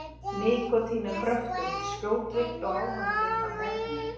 Nikótín er kröftugt, skjótvirkt og ávanabindandi efni.